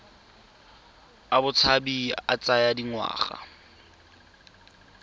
a botshabi a tsaya dingwaga